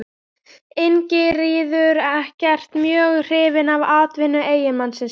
Ingiríður ekkert mjög hrifin af atvinnu eiginmanns síns.